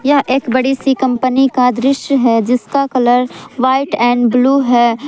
यह एक बड़ी सी कंपनी का दृश्य है जिसका कलर व्हाइट एंड ब्लू है।